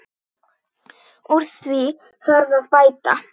Úr því þarf að bæta.